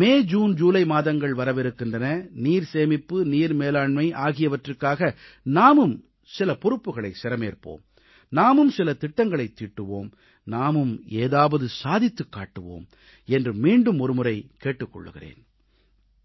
மே June July மாதங்கள் வரவிருக்கின்றன நீர்சேமிப்பு நீர் மேலாண்மை ஆகியவற்றுக்காக நாமும் சில பொறுப்புகளைச் சிரமேற்போம் நாமும் சில திட்டங்களைத் தீட்டுவோம் நாமும் ஏதாவது சாதித்துக் காட்டுவோம் என்று மீண்டும் ஒருமுறை கேட்டுக் கொள்கிறேன்